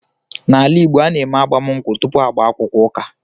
N’ala Igbo, a na-eme agbamụnkwụ tupu agbaakwukwọ ụka.